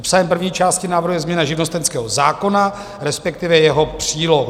Obsahem první části návrhu je změna živnostenského zákona, respektive jeho příloh.